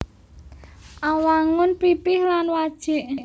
Awangun pipih lan wajik